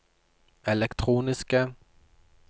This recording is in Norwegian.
elektroniske